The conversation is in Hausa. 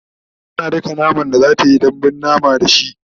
tana daka naman da zatayi dambun mama da shi